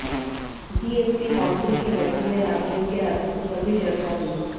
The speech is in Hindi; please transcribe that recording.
जीएसटी काउंसिल की बैठक में राज्यों के राजस्व पर भी चर्चा हुई